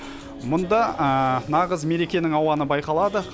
мұнда нағыз мерекенің ауаны байқалады